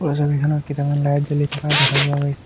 ওপৰৰ ছবিখনত কেইটামান লাইট জ্বলি থকা দেখা পোৱা গৈছে।